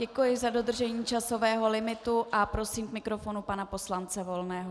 Děkuji za dodržení časového limitu a prosím k mikrofonu pana poslance Volného.